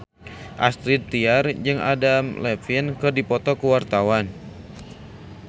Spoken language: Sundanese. Astrid Tiar jeung Adam Levine keur dipoto ku wartawan